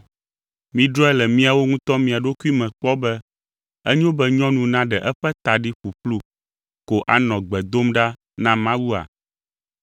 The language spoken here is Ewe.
Midrɔ̃e le miawo ŋutɔ mia ɖokui me kpɔ be enyo be nyɔnu naɖe eƒe ta ɖi ƒuƒlu ko anɔ gbe dom ɖa na Mawua?